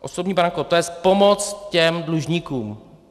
Osobní bankrot, to je pomoc těm dlužníkům.